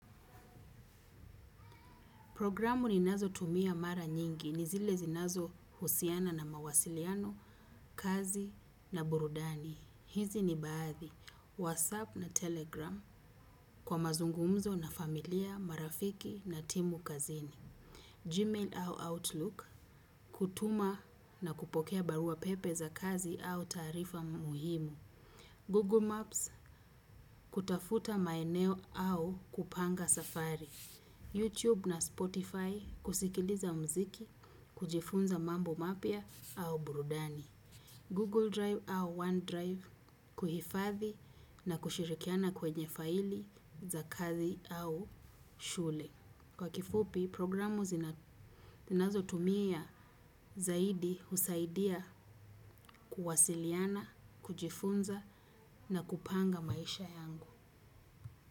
Programu ninazotumia mara nyingi, ni zile zinazohusiana na mawasiliano, kazi na burudani. Hizi ni baadhi, WhatsApp na Telegram kwa mazungumzo na familia, marafiki na timu kazini. Gmail au Outlook, kutuma na kupokea baruapepe za kazi au taarifa muhimu. Google Maps, kutafuta maeneo au kupanga safari. YouTube na Spotify kusikiliza muziki kujifunza mambo mapya au burudani. Google Drive au OneDrive kuhifadhi na kushirikiana kwenye faili za kazi au shule. Kwa kifupi, programu ninazotumia zaidi husaidia kuwasiliana, kujifunza na kupanga maisha yangu.